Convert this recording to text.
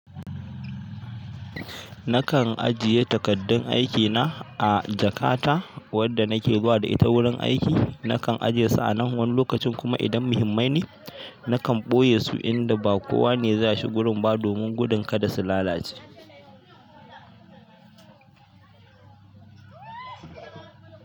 Nakan ajiye takardun aikina a jakata wadda nake ba da ita wurin aiki. Nakan ajie su a nan wani lokacin kuma idan muhimmai ne, nakan ɓoye su inda ba kowa ne za shi gurin ba domin gudun kada su lalace.